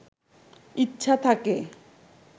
ইচ্ছা থাকে